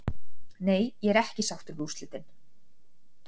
Nei ég er ekki sáttur við úrslitin.